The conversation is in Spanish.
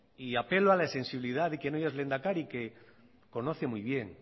y apelo a la sensibilidad de quien hoy es lehendakari que conoce muy bien